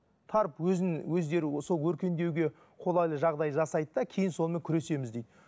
барып өздері сол өркендеуге қолайлы жағдай жасайды да кейін сонымен күресеміз дейді